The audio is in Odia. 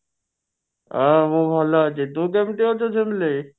ହଁ ମୁଁ ଭଲ ଅଛି ତୁ କେମିତି ଅଛୁ ଝୁମଳୀ